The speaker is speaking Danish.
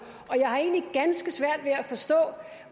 og jeg har egentlig ganske svært ved at forstå